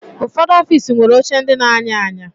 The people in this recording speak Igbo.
Ụfọdụ ọfiisi nwere oche ndị na-anya anya